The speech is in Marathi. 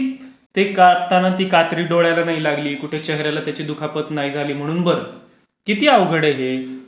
नशीब, ते कापताना ती कात्री डोळ्याला नाही लागली, कुठे चेहर् याला त्याची दुखापत नाही झाली. म्हणून बरं, किती अवघड आहे हे.